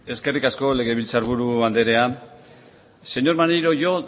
eskerrik asko legebiltzar buru andrea señor maneiro yo